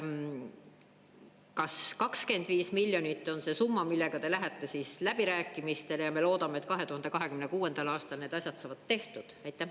Kas 25 miljonit on see summa, millega te lähete siis läbirääkimistele, ja me loodame, et 2026. aastal need asjad saavad tehtud?